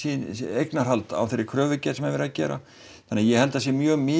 eignarhald á þeirri kröfugerð sem er verið að gera þannig að ég held að það sé mjög mikið